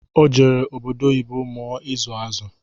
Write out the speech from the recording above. O jere obodo oyibo mụọ ịzụ azụ